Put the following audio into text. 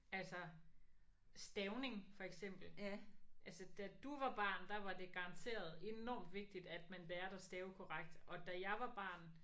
Altså stavning for eksempel altså da du var barn der var det garanteret enormt vigtigt at man lærte at stave korrekt og da jeg var barn